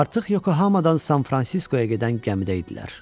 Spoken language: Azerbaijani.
Artıq Yokohamadan San Fransiskoya gedən gəmidə idilər.